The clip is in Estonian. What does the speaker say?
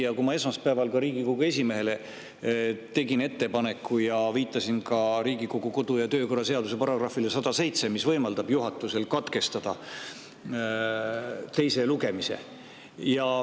Ma tegin juba esmaspäeval Riigikogu esimehele selle ettepaneku, viidates ka Riigikogu kodu- ja töökorra seaduse §-le 107, mis võimaldab juhatusel katkestada teise lugemise.